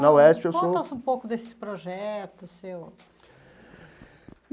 Na UESP, eu sou... Me conta um pouco desse projeto seu.